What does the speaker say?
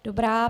Dobrá.